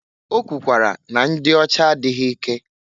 O kwukwara na ndị ọcha adịghị ike.